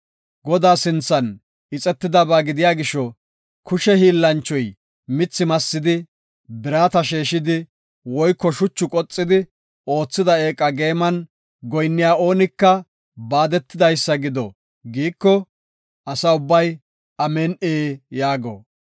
Godaa sinthan ixetidaba gidiya gisho, kushe hiillanchchoy mithi massidi, birata sheeshidi woyko shuchi qoxidi oothida eeqa geeman goyinniya oonika baadetidaysa gido” giiko, Asa ubbay, “Amin7i” yaago.